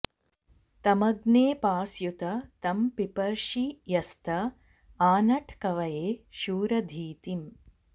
तमग्ने पास्युत तं पिपर्षि यस्त आनट् कवये शूर धीतिम्